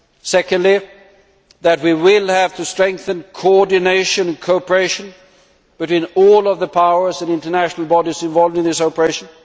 secondly, that we will have to strengthen coordination cooperation between all of the powers and international bodies involved in this operation